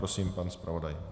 Prosím, pan zpravodaj.